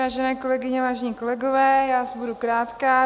Vážené kolegyně, vážení kolegové, já asi budu krátká.